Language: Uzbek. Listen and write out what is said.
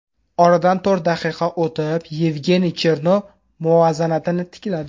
Oradan to‘rt daqiqa o‘tib, Yevgeniy Chernov muvozanatni tikladi.